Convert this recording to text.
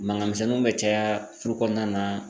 Mankan misɛnninw bɛ caya furu kɔnɔna na.